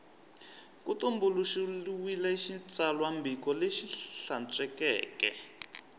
ku tumbuluxiwile xitsalwambiko lexi hlantswekeke